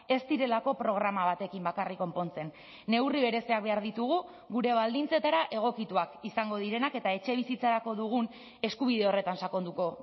ez direlako programa batekin bakarrik konpontzen neurri bereziak behar ditugu gure baldintzetara egokituak izango direnak eta etxebizitzarako dugun eskubide horretan sakonduko